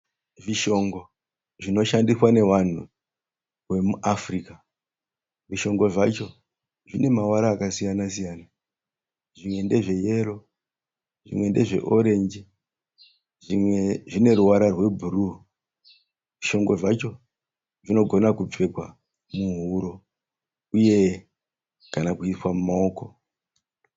Zvishongo zvinoshandiswa nevanhu vemuAfrica. Zvishongo zvacho zvinemavara akasiyana-siyana. Zvimwe ndezveyero zvimwe ndezveorenji zvimwe zvineruvara rwebhuruu. Zvishongo zvacho zvinogona kupfekwa kana uye kana kuiswa mumaoko.